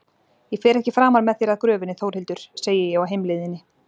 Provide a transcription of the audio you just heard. Ég fer ekki framar með þér að gröfinni Þórhildur, segi ég á heimleiðinni.